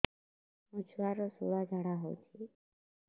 ମୋ ଛୁଆର ସୁଳା ଝାଡ଼ା ହଉଚି